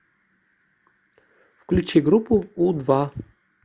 включи группу у два